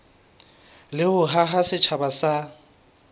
le ho haha setjhaba sa